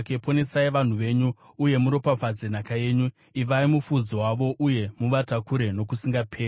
Ponesai vanhu venyu uye muropafadze nhaka yenyu; ivai mufudzi wavo uye muvatakure nokusingaperi.